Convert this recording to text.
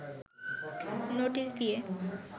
notice দিয়ে